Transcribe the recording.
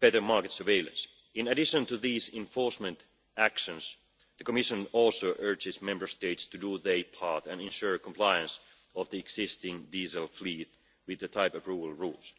better market surveillance, in addition to these enforcement actions the Commission also urges Member States to do their part and ensure compliance of the existing diesel fleet with the type-approval rules.